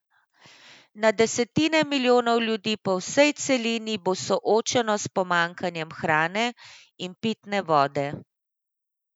Na desetine milijonov ljudi na vsej celini bo soočeno s pomanjkanjem hrane in pitne vode.